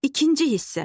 İkinci hissə.